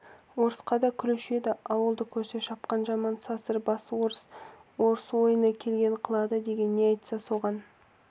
орысқа да күлуші еді ауылды көрсе шапқан жаман сасыр бас орыс орыс ойына келгенін қылады деген не айтса соған